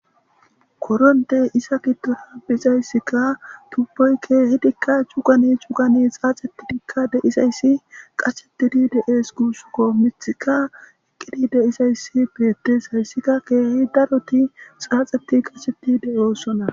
Koroniteyi eza giddoni deizayisakka tuboyi kehidikka cugani cugani xaxetidi deizayisi qachetidi deesi gusikko miththikka eqi deizayisi beteesi gusikko hasika kehi daroti xaxeti qashsheti deosoona